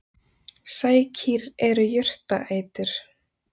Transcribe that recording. Sækýr eru jurtaætur.